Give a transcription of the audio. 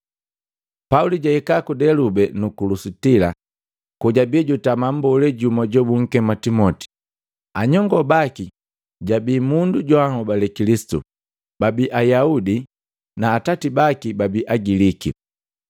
Pauli jahika ku Delube nuku Lusitila, kojabi jutama mbolee jumu jobunkema Timoti. Anyongoo baki bababi kabee jabii mundu joanhobale Kilisitu, babi Ayaudi, na atati baki babi Agiliki.